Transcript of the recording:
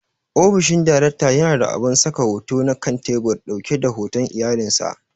Ofishin daraktan yana da abun saka hoto na kan tebur ɗauke da hoton iyalan sa.